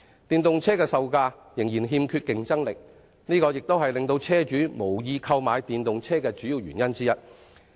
電動車的售價至今仍欠缺競爭力，這亦是令車主無意購買電動車的主要原因之一。